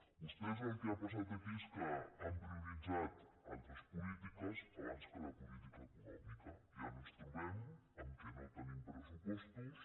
vostès el que ha pas·sat aquí és que han prioritzat altres polítiques abans que la política econòmica i ara ens trobem que no te·nim pressupostos